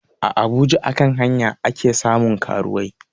A abuja a kan hanya ake samun karuwai